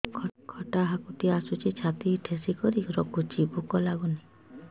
ଖଟା ହାକୁଟି ଆସୁଛି ଛାତି ଠେସିକରି ରଖୁଛି ଭୁକ ଲାଗୁନି